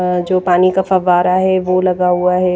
जो पानी का फव्वारा है वो लगा हुआ है।